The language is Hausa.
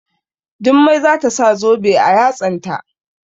Jummai za ta sa zobe a yatsanta.